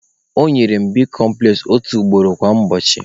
Ọ nyere mụ bicomples otu ugboro kwa ụbọchị.